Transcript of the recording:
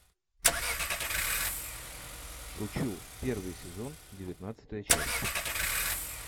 шучу первый сезон девятнадцатая часть